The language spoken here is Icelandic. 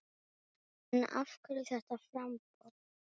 En af hverju þetta framboð?